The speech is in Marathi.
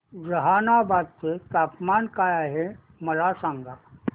जहानाबाद चे तापमान काय आहे मला सांगा